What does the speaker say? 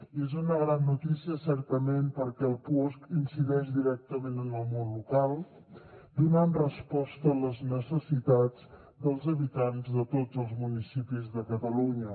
i és una gran notícia certament perquè el puosc incideix directament en el món local donant resposta a les necessitats dels habitants de tots els municipis de catalunya